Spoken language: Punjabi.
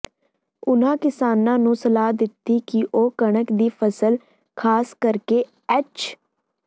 ਉਨਾਂ ਕਿਸਾਨਾਂ ਨੂੰ ਸਲਾਹ ਦਿੱਤੀ ਕਿ ਉਹ ਕਣਕ ਦੀ ਫਸਲ ਖਾਸ ਕਰਕੇ ਐਚ